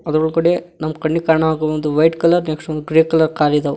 ಎದುರುಗಡೆ ನಮ್ ಕಣ್ಣಿಗ್ ಕಣೋ ಹಾಗ್ ಒಂದು ವೈಟ್ ಕಲರ್ ನೆಕ್ಸ್ಟ್ ಒಂದು ಗ್ರೇ ಕಲರ್ ಕಾರ್ ಇದಾವ.